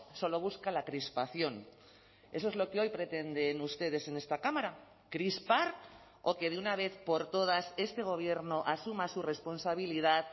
solo busca la crispación eso es lo que hoy pretenden ustedes en esta cámara crispar o que de una vez por todas este gobierno asuma su responsabilidad